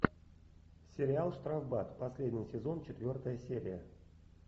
сериал штрафбат последний сезон четвертая серия